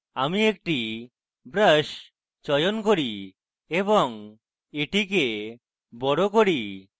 আমি একটি brush চয়ন করি এবং এটি বড় করি